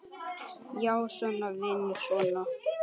Já, svona, vinur, svona!